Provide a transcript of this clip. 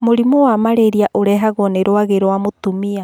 Mũrimũ wa marĩria ũrehagwo nĩ rwagĩ rwa mũtumia